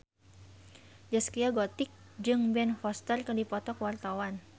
Zaskia Gotik jeung Ben Foster keur dipoto ku wartawan